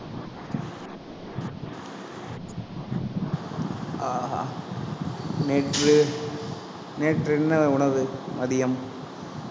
ஆஹ் அஹ் நேற்று, நேற்று என்ன உணவு மதியம்